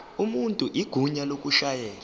umuntu igunya lokushayela